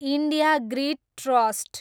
India grid trust